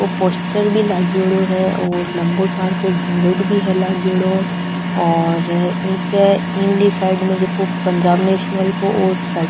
पोस्टर भी लागेड़ो है लम्बो सारको बोर्ड भी है लागेड़ो और ए के ईली साइड में पंजाब नेशनल को --